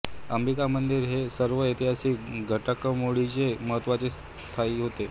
अंबिका मंदिर या सर्व ऐतिहासिक घडामोडींमध्ये महत्त्वाच्या स्थानी होते